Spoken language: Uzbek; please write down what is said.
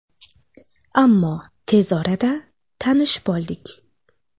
Ammo tez orada tanishib oldik.